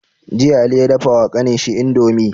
Jiya ali ya dafa wa kanin shi indomie